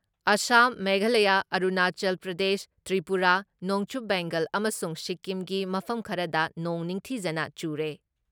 ꯑꯁꯥꯝ, ꯃꯦꯘꯥꯂꯌ, ꯑꯔꯨꯅꯥꯆꯜ ꯄ꯭ꯔꯗꯦꯁ, ꯇ꯭ꯔꯤꯄꯨꯔꯥ, ꯅꯣꯡꯆꯨꯞ ꯕꯦꯡꯒꯜ ꯑꯃꯁꯨꯡ ꯁꯤꯛꯀꯤꯝꯒꯤ ꯃꯐꯝ ꯈꯔꯗ ꯅꯣꯡ ꯅꯤꯡꯊꯤꯖꯅ ꯆꯨꯔꯦ ꯫